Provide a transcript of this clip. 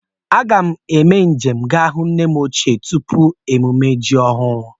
A ga m eme nje m ga hụ nne m ochie tupu emume ji ọhụrụ